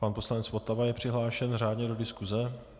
Pan poslanec Votava je přihlášen řádně do diskuse.